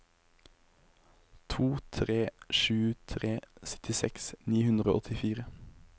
to tre sju tre syttiseks ni hundre og åttifire